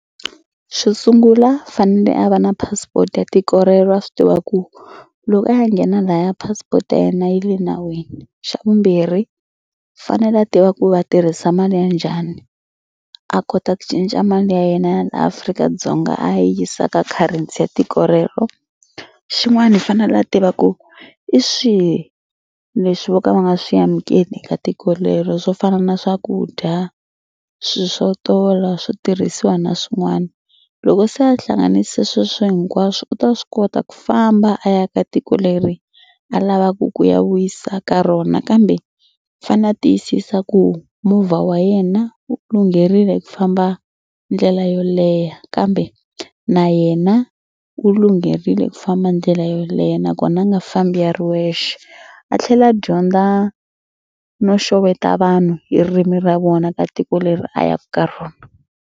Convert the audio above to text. Xo sungula fanele a va na passport ya tiko rero a swi tiva ku loko a ya nghena laya passport ya yena yi le nawini. Xa vumbirhi fanele a tiva ku va tirhisa mali ya njhani a kota ku cinca mali ya yena ya yena ya le Afrika-Dzonga a yi yisa ka currency ya tiko rero. Xin'wana i fanele a tiva ku i swihi leswi vo ka va nga swi amukeli eka tiko rero swo fana na swakudya swilo swo tola swo tirhisiwa na swin'wana. Loko se a hlanganisa sweswo hinkwaswo u ta swi kota ku famba a ya ka tiko leri a lavaku ku ya wisa ka rona kambe fane a tiyisisa ku movha wa yena wu lungherile ku famba ndlela yo leha kambe na yena u lungherile ku famba ndlela yo leha nakona a nga fambi a ri wexe. A tlhela a dyondza no xeweta vanhu ririmi ra vona ka tiko leri a yaka ka rona.